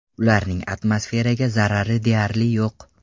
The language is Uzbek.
Ularning atmosferaga zarari deyarli yo‘q.